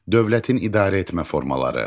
Dövlətin idarəetmə formaları.